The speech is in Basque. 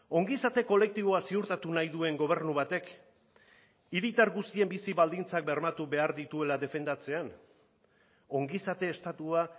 ongizate kolektiboa ziurtatu nahi duen gobernu batek hiritar guztien bizi baldintzak bermatu behar dituela defendatzean ongizate estatua